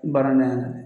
Baara na